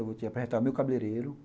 Eu vou te apresentar o meu cabeleireiro.